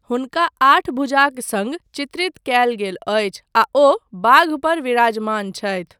हुनका आठ भुजाक सङ्ग चित्रित कयल गेल अछि आ ओ बाघ पर विराजमान छथि।